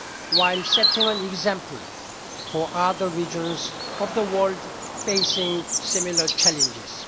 while setting an example for other regions of the world facing similar challenges.